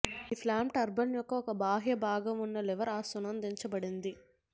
ఈ flap turbine యొక్క ఒక బాహ్య భాగం ఉన్న లివర్ అనుసంధానించబడింది